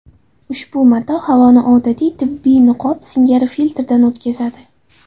Ushbu mato havoni odatiy tibbiy niqob singari filtrdan o‘tkazadi.